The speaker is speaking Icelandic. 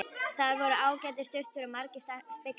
Þar voru ágætar sturtur og margir speglar!